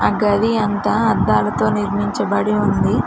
ఆ గది అంతా అద్దాలతో నిర్మించబడి ఉంది.